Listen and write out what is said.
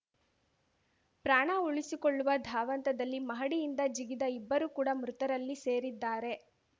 ಪ್ರಾಣ ಉಳಿಸಿಕೊಳ್ಳುವ ಧಾವಂತದಲ್ಲಿ ಮಹಡಿಯಿಂದ ಜಿಗಿದ ಇಬ್ಬರು ಕೂಡ ಮೃತರಲ್ಲಿ ಸೇರಿದ್ದಾರೆ